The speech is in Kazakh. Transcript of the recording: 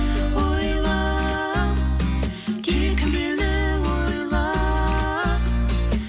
ойла тек мені ойла